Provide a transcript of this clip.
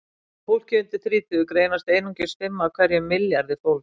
hjá fólki undir þrítugu greinast einungis fimm af hverjum milljarði fólks